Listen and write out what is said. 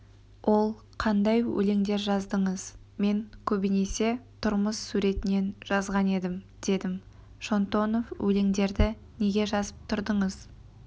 ол қандай өлеңдер жаздыңыз мен көбінесе тұрмыс суретінен жазған едім дедім шонтонов өлеңдерді неге жазып тұрдыңыз